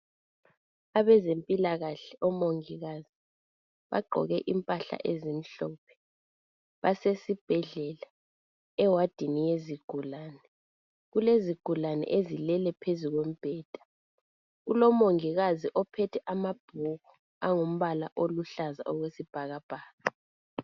Abezempilakahle omongikazi bagqoke impahla ezimhlophe, basesibhedlela ewadini yezigulane .Kulezigulane ezilele phezulu kombheda. Kulomongikazi ophethe amabhuku angumbala oluhlaza okwesibhakabhaka.